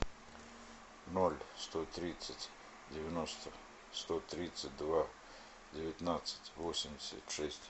ноль сто тридцать девяносто сто тридцать два девятнадцать восемьдесят шесть